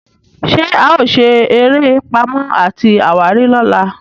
ṣe ao sere eré Pàmò àti àwárí lọla?